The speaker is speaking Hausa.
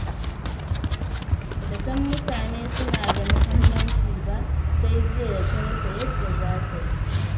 Ba ta san mutane suna da muhimmanci ba, sai jiya da ta rasa yadda za ta yi.